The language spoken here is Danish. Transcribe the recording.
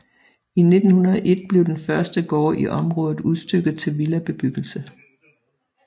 I 1901 blev den første gård i området udstykket til villabebyggelse